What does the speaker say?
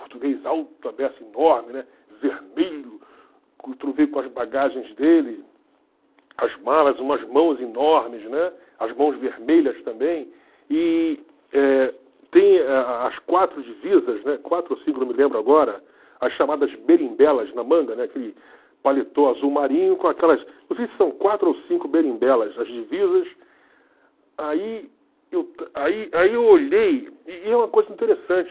português alto a beça enorme, né vermelho, com as bagagens dele, as malas, umas mãos enormes, né, as mãos vermelhas também, e eh tem a a as quatro divisas, né, quatro ou cinco, não me lembro agora, as chamadas berimbelas na manga, né, aquele paletó azul marinho com aquelas, não sei se são quatro ou cinco berimbelas, as divisas, aí aí aí eu olhei, e e é uma coisa interessante,